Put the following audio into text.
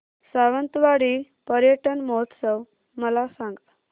सावंतवाडी पर्यटन महोत्सव मला सांग